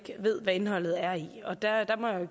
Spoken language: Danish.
indholde